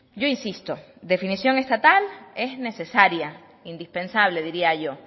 yo insisto definición estatal es necesaria indispensable diría yo